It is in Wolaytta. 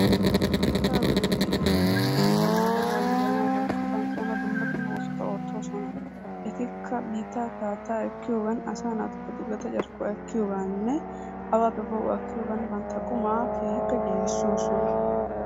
Biittaa boollan de'iyaa meedosati bantta de'uwaa yiihanawu woykko banqqayanawu dumma dumma oosota oottoosona. Ettika biittappe haattaa ekkiyoogan xuuggetta carkkuwaa asaa naatuppe ekkiyooganinne awaappe poo'uwaa ekkiyoogan bantta qumaa keehippe giigisoosona.